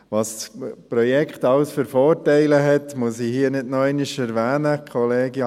Was das Projekt alles für Vorteile hat, muss ich hier nicht noch einmal erwähnen.